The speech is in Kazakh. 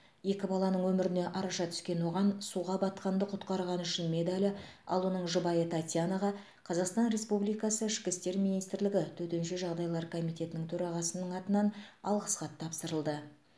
екі баланың өміріне араша түскен оған суға батқанды құтқарғаны үшін медалі ал оның жұбайы татьянаға қазақстан республикасы ішкі істер министрлігі төтенше жағдайлар комитетінің төрағасының атынан алғыс хат тапсырылды